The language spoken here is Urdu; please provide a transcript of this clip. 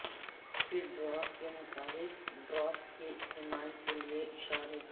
فیڈروف کے مطابق ڈراپ کے استعمال کے لئے اشارے